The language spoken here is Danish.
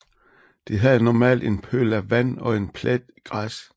De havde normalt en pøl af vand og en plet græs